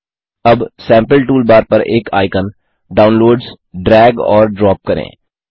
अब sample toolbar पर एक आइकन डाउनलोड्स ड्रैग और ड्रॉप करें